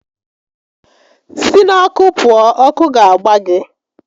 Si n'ọkụ pụọ! Ọkụ ga-agba gị!